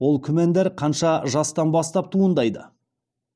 ол күмәндар қанша жастан бастап туындайды